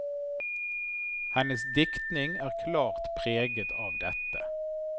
Hennes diktning er klart preget av dette.